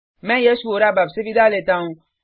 मैं यश वोरा अब आपसे विदा लेता हूँ